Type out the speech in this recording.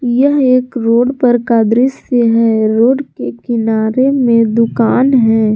यह एक रोड पर का दृश्य है रोड के किनारे में दुकान है।